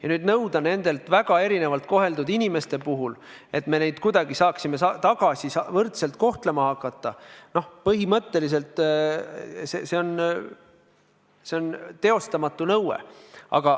Ja nüüd nõuda nende väga erinevalt koheldud inimeste puhul, et me saaksime neid kuidagi jälle võrdselt kohtlema hakata – põhimõtteliselt see on teostamatu nõue.